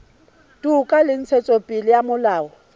toka le ntshetsopele ya molao